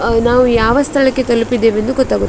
ಹ ನಾವು ಯಾವ ಸ್ಥಳಕ್ಕೆ ತಲುಪಿದ್ದೇವೆ ಎಂದು ಗೊತ್ತಾಗು --